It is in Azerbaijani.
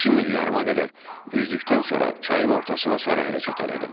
İki mil yarıma qədər üzdükdən sonra çayın ortasına sarı hərəkət elədim.